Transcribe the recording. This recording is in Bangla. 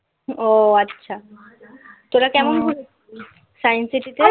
ও আচ্ছা. তোরা কেমন ঘুরে science city তে